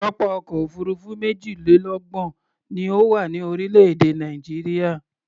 Pápá ọkọ̀ òfuurufú méjìlélọ́gbọ̀n ni ó wà ní orílẹ̀-èdè Nàìjíríà.